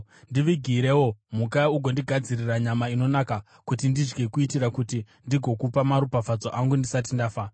‘Ndivigirewo mhuka ugondigadzirira nyama inonaka kuti ndidye kuitira kuti ndigokupa maropafadzo angu ndisati ndafa.’